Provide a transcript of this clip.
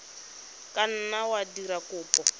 ka nna wa dira kopo